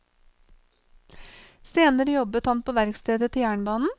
Senere jobbet han på verkstedet til jernbanen.